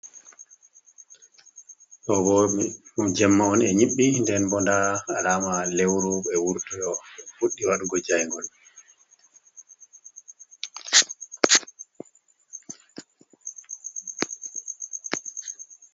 Ɗo bo ɗum jemma on e nyiɓɓi, nden bo nda alama lewru be wurtoo fuɗɗi waɗugo jaingol.